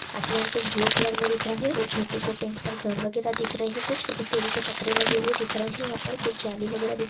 आसमान कुछ blue colour में दिख रहा है वह छोटे-छोटे यहां पर घर वगैरा दिख रहे हैं कुछ और टिन के पत्रे लगे हुए दिख रहे हैं यहां पर कुछ जालि वगैरह दिख--